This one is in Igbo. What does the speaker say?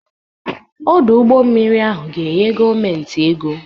Ọdụ ụgbọ mmiri ahụ ga-enye gọọmentị ego.